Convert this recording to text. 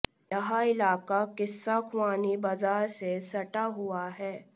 यह इलाका किस्सा ख्वानी बाजार से सटा हुआ है